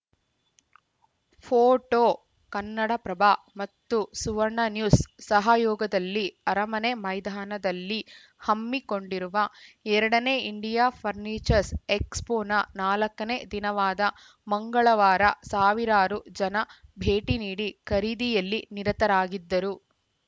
photo Kannadaprabha ಮತ್ತು Suvarna news ಸಹಯೋಗದಲ್ಲಿ ಅರಮನೆ ಮೈದಾನದಲ್ಲಿ ಹಮ್ಮಿಕೊಂಡಿರುವ ಎರಡನೇ ಇಂಡಿಯಾ ಫರ್ನಿಚರ್ಸ ಎಕ್ಸ್‌ಫೋನ ನಾಲ್ಕನೇ ದಿನವಾದ ಮಂಗಳವಾರ ಸಾವಿರಾರು ಜನ ಭೇಟಿನೀಡಿ ಖರೀದಿಯಲ್ಲಿ ನಿರತರಾಗಿದ್ದರು